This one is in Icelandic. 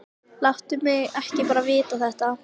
Láttu ekki bara mig vita þetta.